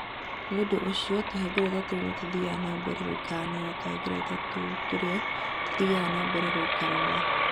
Nĩ ũndũ ũcio, tũhengereta tũu nĩ tũthiaga na mbere gũikarania na tũhengereta tũu tũrĩa tũthiaga na mbere gũikarania.